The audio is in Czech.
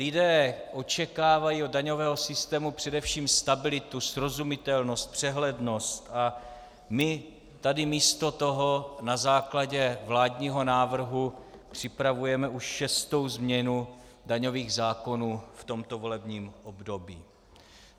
Lidé očekávají od daňového systému především stabilitu, srozumitelnost, přehlednost, a my tady místo toho na základě vládního návrhu připravujeme už šestou změnu daňových zákonů v tomto volebním období.